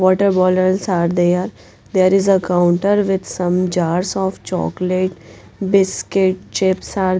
water bottles are there there is a counter with some jars of chocolate biscuit chips are --